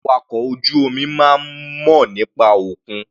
Àwọn awakọ̀ ojú omi máa ń mọ̀ nípa òkun.